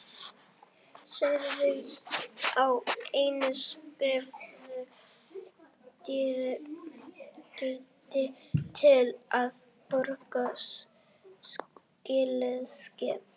Sagt var að einn skreiðarfarmur dygði til að borga slíkt skip.